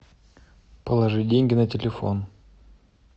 положи деньги на телефон